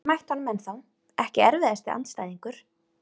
Hef ekki mætt honum ennþá Ekki erfiðasti andstæðingur?